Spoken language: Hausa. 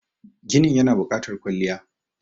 ginin yana bukatar kwalliya